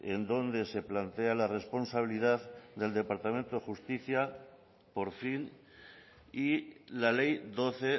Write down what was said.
en donde se plantea la responsabilidad del departamento de justicia por fin y la ley doce